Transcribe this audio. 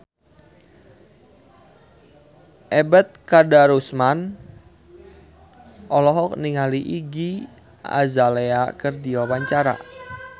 Ebet Kadarusman olohok ningali Iggy Azalea keur diwawancara